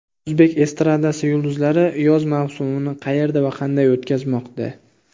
O‘zbek estradasi yulduzlari yoz mavsumini qayerda va qanday o‘tkazmoqda?.